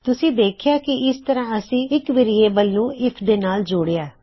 ਤੁਸੀਂ ਦੇਖਿਆ ਕਿ ਇਸ ਤਰਹ ਆਸੀ ਇੱਕ ਵੇਅਰਿਏਬਲ ਨੂੰ ਆਈਐਫ ਦੇ ਨਾਲ ਜੋੜਿਆ